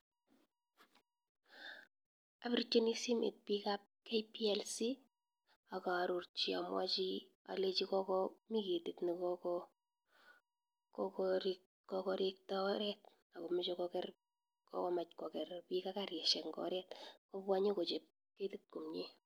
Apirchini simet pik ap KPLC ak arorchi amwachi alechi mi ketit kekokorikta oret akomeche koker pik ak karishek en oret kobwa nyokochap ketit komnye.